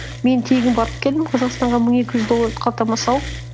мен тегін барып келдім қазақстанға мың екі жүз долларды қалтама салып